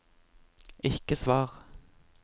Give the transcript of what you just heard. ikke svar